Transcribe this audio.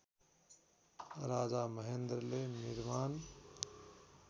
राजा महेन्द्रले निर्माण